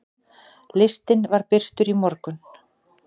Listinn var birtur í morgun.